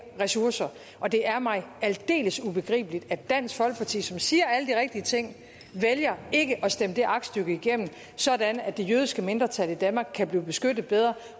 ressourcer og det er mig aldeles ubegribeligt at dansk folkeparti som siger alle de rigtige ting vælger ikke at stemme det aktstykke igennem sådan at det jødiske mindretal i danmark kan blive beskyttet bedre